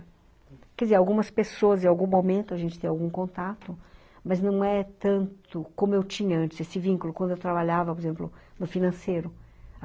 Quer dizer, algumas pessoas em algum momento a gente tem algum contato, mas não é tanto como eu tinha antes, esse vínculo quando eu trabalhava, por exemplo, no financeiro.